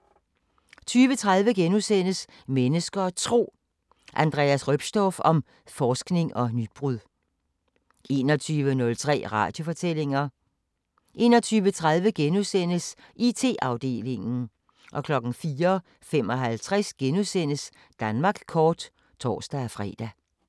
20:30: Mennesker og Tro: Andreas Roepstorff om forskning og nybrud * 21:03: Radiofortællinger 21:30: IT-afdelingen * 04:55: Danmark kort *(tor-fre)